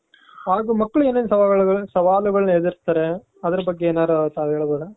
ಹಾಗು ಮಕ್ಕಳು ಏನೇನ್ ಸವಾಲು, ಸವಾಲುಗಳನ್ನ ಎದ್ರುಸ್ತಾರೆ, ಅದ್ರು ಬಗ್ಗೆ ತಾವೇನಾದ್ರು ಹೇಳ್ಬಹುದ.